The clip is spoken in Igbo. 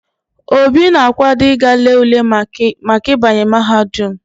Obi na akwado íga lee ule Maka ibanye mahadum